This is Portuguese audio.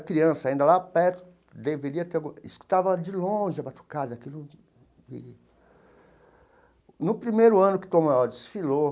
Criança, ainda lá perto, deveria ter... Escutava de longe a batucada, aquilo e... No primeiro ano que Tom maior desfilou,